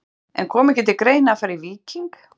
En kom ekki til greina að fara í Víking?